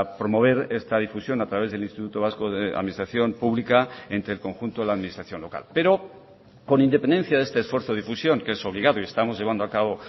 promover esta difusión a través del instituto vasco de administración pública entre el conjunto de la administración local pero con independencia de este esfuerzo de difusión que es obligado y estamos llevando a cabo